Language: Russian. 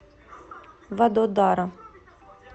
вадодара